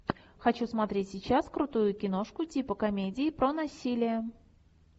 хочу смотреть сейчас крутую киношку типа комедии про насилие